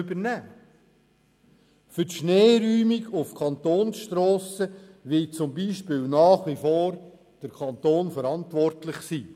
Für die Schneeräumung auf Kantonsstrassen beispielsweise wird nach wie vor der Kanton verantwortlich sein.